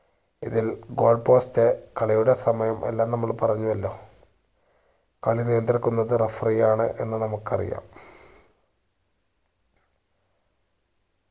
ഇതിൽ goal post കളിയുടെ സമയം എല്ലാം നമ്മള് പറഞ്ഞു അല്ലോ കളി നിയന്ത്രിക്കുന്നത് referee ആണ് എന്ന് നമ്മുക്ക് അറിയാം